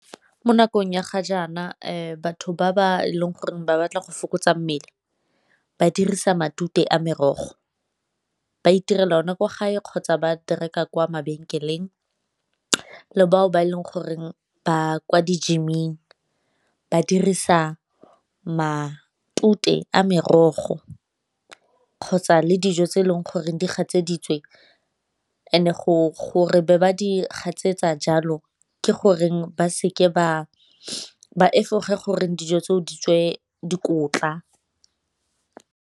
Mo nakong ya ga jaana batho ba ba e leng gore ba batla go fokotsa mmele ba dirisa matute a merogo, ba itirela ona kwa gae kgotsa ba di reka kwa mabenkeleng le bao ba e leng goreng ba kwa di-gym-ing ba dirisa matute a merogo kgotsa le dijo tse e leng goreng di gatseditsweng and-e be ba di gatsetsa jalo ke goreng ba efoge gore dijo tseo di tswe dikotla.